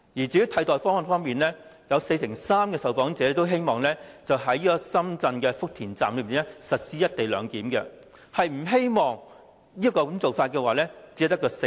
在替代方案方面，四成三受訪者希望在深圳福田站實施"一地兩檢"；不支持這個做法的只有四成。